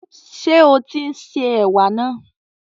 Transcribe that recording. Ṣé o tín se ẹ̀wà náà?